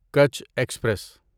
Kutch express